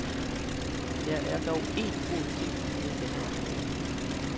Der er dog én god ting ved denne opgave.